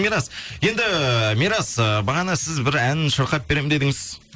мирас енді мирас ыыы бағана сіз бір ән шырқап беремін дедіңіз